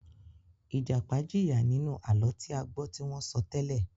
Ìjàpá jìyà nínú àlọ́ tí a gbọ́ tí wọ́n sọ tẹ́lẹ̀.